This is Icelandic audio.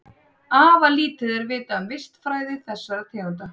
Afar lítið er vitað um vistfræði þessara tegunda.